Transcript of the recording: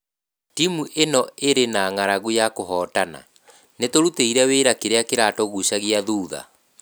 Timu ĩno ĩrĩ na ng'aragu ya kũhootana, nĩ tũrutĩire wĩra kĩrĩa kĩratũgucagia thutha.